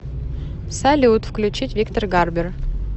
салют включить виктор гарбер